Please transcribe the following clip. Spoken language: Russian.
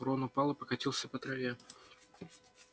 рон упал и покатился по траве